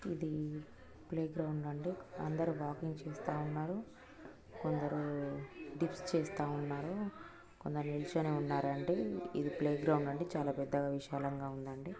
ఇది ప్లేగ్రౌండ్ అండి అందరూ వాకింగ్ చేస్తా ఉన్నారు కొందర డిప్స్ చేస్తా ఉన్నారు. కొందరు నించొని ఉన్నారు. ఇది ప్లేగ్రౌండ్ అండి చాలా పెద్దగా విశాలంగా ఉన్నదండీ.